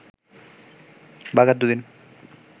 বাঘার দুদিন